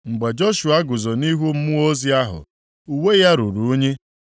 Mgbe Joshua guzo nʼihu mmụọ ozi ahụ, uwe ya ruru unyi.